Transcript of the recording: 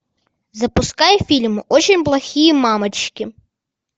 запускай фильм очень плохие мамочки